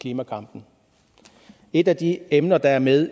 klimakampen et af de emner der er med